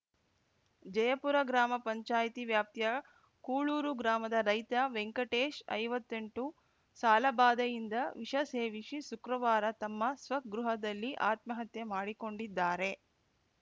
ಜಯಪುರ ಗ್ರಾಮ ಪಂಚಾಯಿತಿ ವ್ಯಾಪ್ತಿಯ ಕೂಳೂರು ಗ್ರಾಮದ ರೈತ ವೆಂಕಟೇಶ್‌ ಐವತ್ತೆಂಟು ಸಾಲಬಾಧೆಯಿಂದ ವಿಷ ಸೇವಿಸಿ ಶುಕ್ರವಾರ ತಮ್ಮ ಸ್ವಗೃಹದಲ್ಲಿ ಆತ್ಮಹತ್ಯೆ ಮಾಡಿಕೊಂಡಿದ್ದಾರೆ